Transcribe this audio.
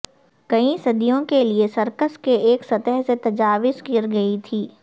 کئی صدیوں کے لئے سرکس کے ایک سطح سے تجاوز کر گئی تھی